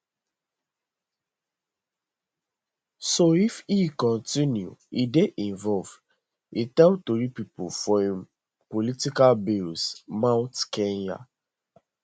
so if e kontinu e dey involve e tell tori pipo for im political base mount kenya